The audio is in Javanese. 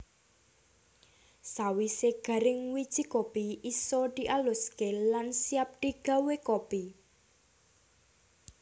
Sawisé garing wiji kopi isa dialuské lan siap digawé kopi